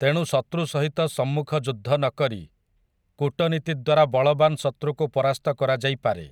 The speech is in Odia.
ତେଣୁ ଶତୃ ସହିତ ସମ୍ମୁଖ ଯୁଦ୍ଧ ନକରି କୂଟନୀତି ଦ୍ୱାରା ବଳବାନ୍ ଶତୃକୁ ପରାସ୍ତ କରାଯାଇପାରେ ।